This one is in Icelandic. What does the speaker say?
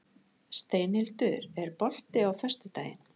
Steinhildur, er bolti á föstudaginn?